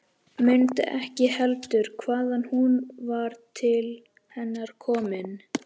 Mundi ekki heldur hvaðan hún var til hennar komin.